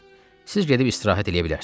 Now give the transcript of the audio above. Siz gedib istirahət eləyə bilərsiniz.